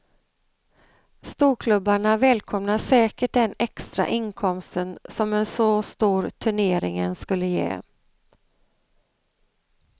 Storklubbarna välkomnar säkert den extra inkomsten som en så stor turneringen skulle ge.